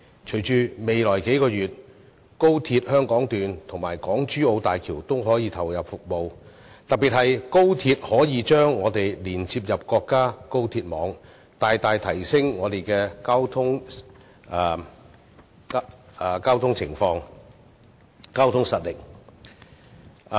隨着高鐵香港段及港珠澳大橋在未來數月投入服務，特別是高鐵可以把我們連接到國家高鐵網，將大大改善我們的交通情況和提升交通實力。